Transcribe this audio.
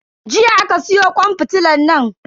Jiya aka siyo kwan fitilan nan.